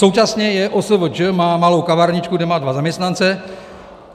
Současně je OSVČ, má malou kavárničku, kde má dva zaměstnance.